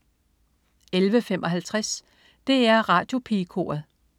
11.55 DR Radiopigekoret